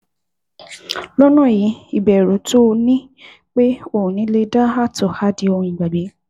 Lọ́nà yìí, ìbẹ̀rù tó o ní pé o lè da ààtọ̀ á di ohun ìgbàgbé